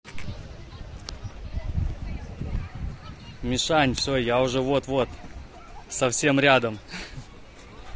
мишань всё я уже вот-вот совсем рядом